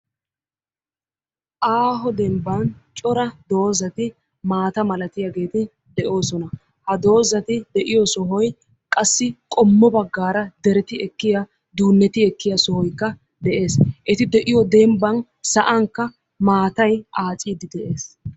Aaho demmbban cora doozati maata malatiyageeti de'oosona. Ha doozati de'iyo sohoy qassi qommo baggaara derti ekkiya duunetti ekkiya sohoykka de'ees, eti de'iyo dembban sa'ankka maattay aacciidi dees.